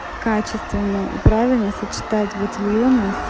качественная и правильно сочетать батильоны с